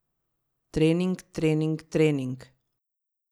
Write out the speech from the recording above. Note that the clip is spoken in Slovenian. Trening, trening, trening.